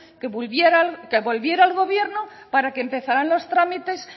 que volviera al gobierno para que empezaran los trámites